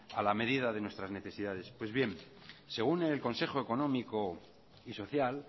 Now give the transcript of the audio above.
a la medida de nuestras necesidades pues bien según el consejo económico y social